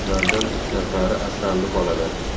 Ulardan uch nafari asrandi bolalar.